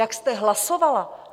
Jak jste hlasovala?